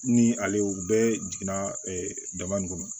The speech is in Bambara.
Ni ale o bɛɛ jiginna dama in kɔnɔ